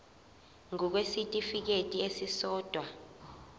ngur kwisitifikedi esisodwa